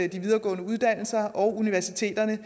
de videregående uddannelser og universiteterne